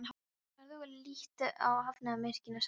Farðu og líttu á hafnarmannvirkin, sagði Bjarni.